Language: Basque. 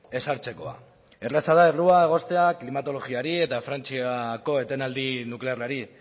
ezartzekoa erraza da errua egoztea klimatologiari eta frantziako etenaldi nuklearrari